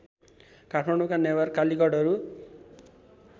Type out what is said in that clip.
काठमाडौँका Newar कालीगढहरू